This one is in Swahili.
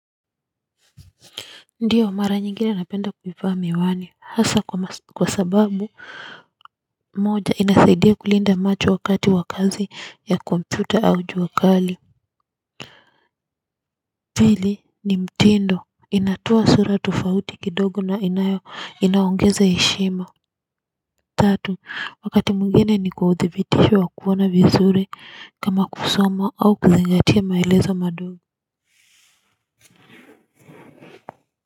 Ndio mara nyingine napenda kuivaa miwani hasa kwa sababu moja inasaidia kulinda macho wakati wa kazi ya kompyuta au jua kali pili ni mtindo inatoa sura tofauti kidogo na inayo inaongeza heshima. Tatu wakati mwngine ni kwa udhibitisho wa kuona vizuri kama kusoma au kuzingatia maelezo madogo.